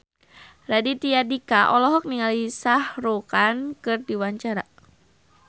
Raditya Dika olohok ningali Shah Rukh Khan keur diwawancara